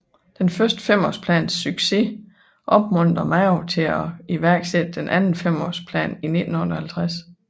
Den første femårsplans succes opmuntrede Mao til iværksætte den anden femårsplan i 1958